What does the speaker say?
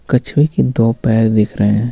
कछुए के दो पैर दिख रहे हैं.